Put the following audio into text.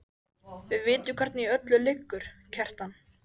Hann lét þess ógetið hvert ferðinni væri heitið.